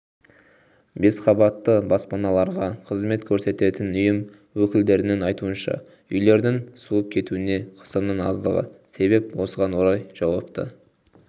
бесқабатты баспаналарға қызмет көрсететін ұйым өкілдерінің айтуынша үйлердің суып кетуіне қысымның аздығы себеп осыған орай жауапты